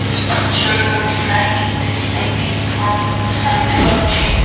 this picture looks like it is taken from inside a gym.